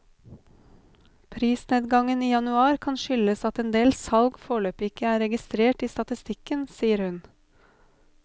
Prisnedgangen i januar kan skyldes at en del salg foreløpig ikke er registrert i statistikken, sier hun.